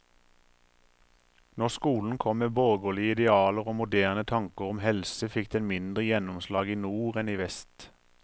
Når skolen kom med borgerlige idealer og moderne tanker om helse, fikk den mindre gjennomslag i nord enn i vest.